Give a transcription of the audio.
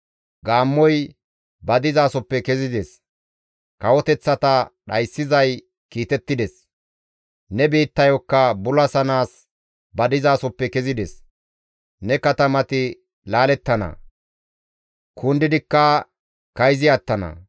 Gaammoy ba dizasoppe kezides; kawoteththata dhayssizay kiitettides; ne biittayokka bulasanaas ba dizasoppe kezides; ne katamati laalettana; kundidikka kayzi attana.